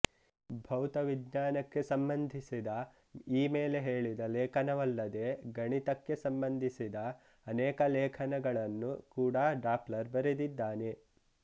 ಭೌತವಿಜ್ಞಾನಕ್ಕೆ ಸಂಬಂಧಿಸಿದ ಈ ಮೇಲೆ ಹೇಳಿದ ಲೇಖನವಲ್ಲದೆ ಗಣಿತಕ್ಕೆ ಸಂಬಂಧಿಸಿದ ಅನೇಕ ಲೇಖನಗಳನ್ನು ಕೂಡ ಡಾಪ್ಲರ್ ಬರೆದಿದ್ದಾನೆ